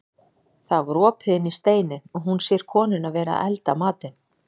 Það var opið inn í steininn og hún sér konuna vera að elda matinn.